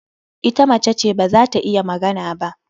Ita mace ce, ba za ta iya magana ba.